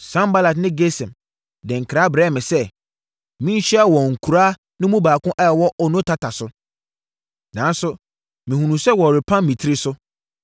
Sanbalat ne Gesem de nkra brɛɛ me sɛ, menhyia wɔn nkuraa no baako a ɛwɔ Ono tata so. Nanso, mehunuu sɛ wɔrepam me tiri so,